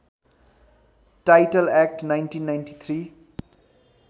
title act १९९३